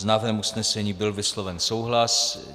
S návrhem usnesení byl vysloven souhlas.